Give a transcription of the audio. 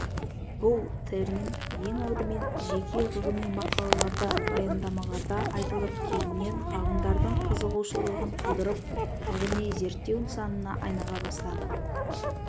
бұл термин ең алдымен жеке ғылыми мақалаларда баяндамаларда айтылып кейіннен ғалымдардың қызығушылығын тудырып ғылыми-зерттеу нысанына айнала бастады